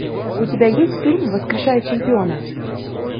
у тебя есть фильм воскрешая чемпиона